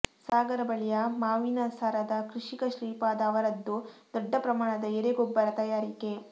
ಸಾಗರ ಬಳಿಯ ಮಾವಿನಸರದ ಕೃಷಿಕ ಶ್ರೀಪಾದ ಅವರದ್ದು ದೊಡ್ಡ ಪ್ರಮಾಣದ ಎರೆಗೊಬ್ಬರ ತಯಾರಿಕೆ